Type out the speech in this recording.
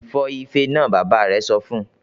"Fọ́ ifẹ náà!", Bàbá rẹ̀ sọ fún